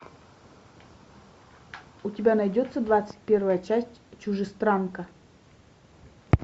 у тебя найдется двадцать первая часть чужестранка